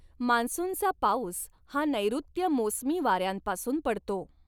मान्सूनचा पाउस हा नैऋत्य मोसमी वाऱ्यांपासुन पडतो.